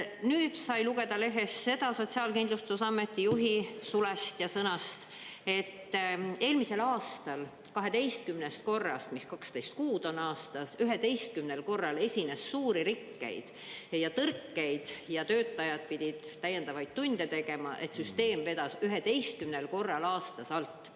Nüüd sai lugeda lehest seda Sotsiaalkindlustusameti juhi sulest ja sõnast, et eelmisel aastal 12 korrast, mis 12 kuud on aastas, 11 korral esines suuri rikkeid ja tõrkeid ja töötajad pidid täiendavaid tunde tegema, et süsteem vedas 11 korral aastas alt.